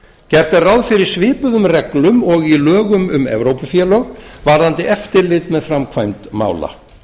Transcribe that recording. gert er ráð fyrir svipuðum reglum og í lögum um evrópufélög varðandi eftirlit með framkvæmd mála